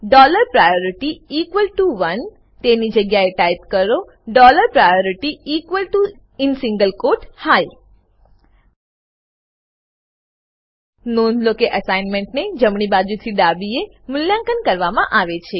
dollar priority equal to ઓને તેની જગ્યા એ ટાઈપ કરો dollar priority equal to in single quote high નોંધ લો કે અસાઇનમેન્ટને જમણી બાજુથી ડાબીએ મૂલ્યાંકન કરવામાં આવે છે